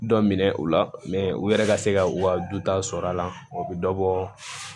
Dɔ minɛ u la mɛ u yɛrɛ ka se ka u ka dutaw sɔrɔ a la o bɛ dɔ bɔ